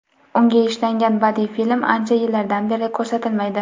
Unga ishlangan badiiy film ancha yillardan beri ko‘rsatilmaydi.